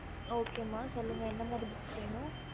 okey எந்த மாரி books வேணும்